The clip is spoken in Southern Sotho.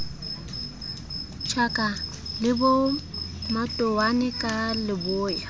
tjhaka le bomatowane ka leboya